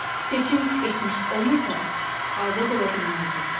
Seçim etmiş olmasaq, azad ola bilməzdik.